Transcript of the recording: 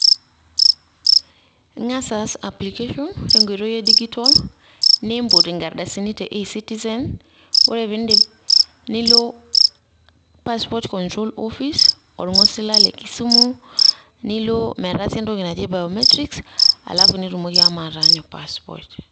Ing'as as application tenkoitoi e digital ,niimput ikardasini te e-citizen, Ore piidip nilo passport control office orng'osila le kisumu, nilo metaasi entoki naji biometrics alafu nitumoki ashomo ataanyu passport.